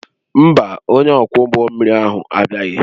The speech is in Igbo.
Mba, onye ọkwọ ụgbọ mmiri ahụ abịaghị